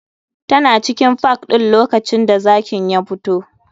Tana cikin park ɗin lokacin da zakin ya fito.